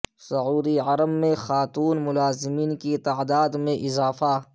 سعودی عرب میں خاتون ملازمین کی تعداد میں اضافہ